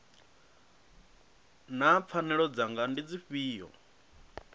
naa pfanelo dzanga ndi dzifhio